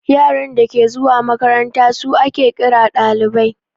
Yaran dake zuwa makaranta su ake ƙira ɗalibai